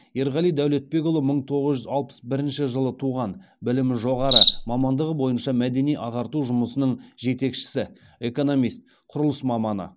ерғали дәулетбекұлы мың тоғыз жүз алпыс бірінші жылы туған білімі жоғары мамандығы бойынша мәдени ағарту жұмысының жетекшісі экономист құрылыс маманы